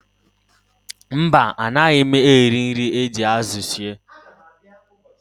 Mba, anaghị m eri nri e ji azụ sie